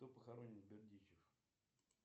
кто похоронен в бердичев